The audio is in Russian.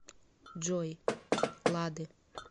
джой лады